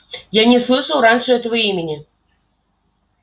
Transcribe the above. я не слышал раньше этого имени